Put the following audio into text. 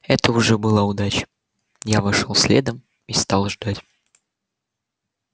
это уже была удача я вошёл следом и стал ждать